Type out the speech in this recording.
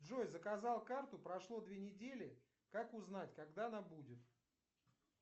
джой заказал карту прошло две недели как узнать когда она будет